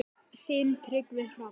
Þinn Tryggvi Hrafn.